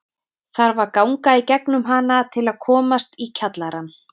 Þarf að ganga í gegnum hana til að komast í kjallarann.